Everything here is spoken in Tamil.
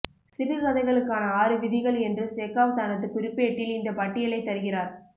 சிறுகதைகளுக்கான ஆறு விதிகள் என்று செகாவ் தனது குறிப்பேட்டில் இந்த பட்டியலை தருகிறார்